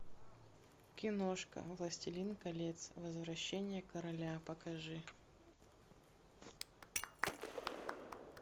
киношка властелин колец возвращение короля покажи